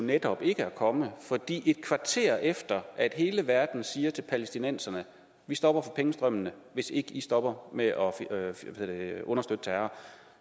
netop ikke at komme fordi et kvarter efter at hele verden siger til palæstinenserne at vi stopper for pengestrømmene hvis ikke de stopper med at understøtte terror